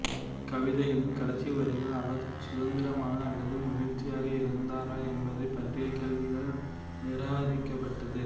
கவிதைகளின் கடைசி வரிகள் அவர் சுதந்திரமாக அல்லது மகிழ்ச்சியாக இருந்தரா என்பதைப் பற்றிய கேள்விகள் நிராகரிக்கபட்டது